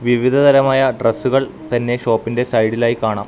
വിവിധതരമായ ഡ്രസ്സുകൾ തന്നെ ഷോപ്പിന്റെ സൈഡിൽ ആയി കാണാം.